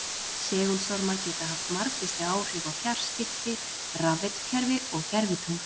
Segulstormar geta haft margvísleg áhrif á fjarskipti, rafveitukerfi og gervitungl.